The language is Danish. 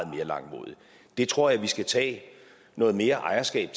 mere langmodigt det tror jeg vi skal tage noget mere ejerskab